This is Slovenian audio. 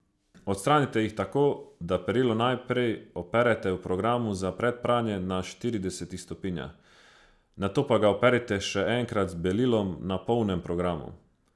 Odstranite jih tako, da perilo najprej operete v programu za predpranje na štiridesetih stopinjah, nato pa ga operite še enkrat z belilom na polnem programu.